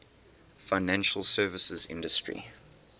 financial services industry